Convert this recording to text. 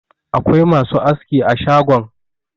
Akwai masu aski a shagon.